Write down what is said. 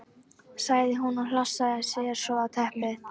sagði hún og hlassaði sér svo á teppið.